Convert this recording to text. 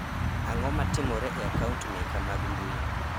ang'o matimore e akaunt meka mag mbui